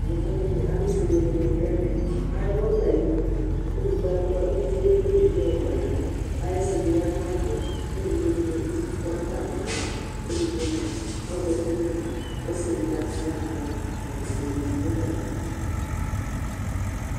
yɔvɔ dini, alʋƒʋɛ dini dʋ ɛmɛ, adʋ ɔbɛ ayinʋ kʋ ʋlʋviɛ ɛkplè ɛvidzɛ yɔkɔ nʋ ɛmɔ kʋ ayisi bi yanʋ ayɛtʋ kʋ ɛvidzɛ dini bi tɔnʋ atami alɔ kʋɛdigbɔ mʋa ɔzati nʋ ɛmɔ, ɔsii ɛdigbɔ atala nʋ alɔ, ɛkʋtɛ bɛ di dʋ atami idʋ